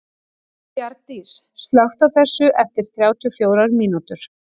Bjargdís, slökktu á þessu eftir þrjátíu og fjórar mínútur.